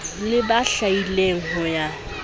le ba hlwaileng ho ya